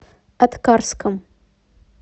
аткарском